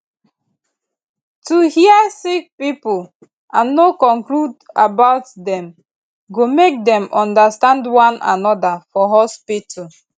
to hear sick pipo and no conclude about dem go make dem understand one anoda for hospitu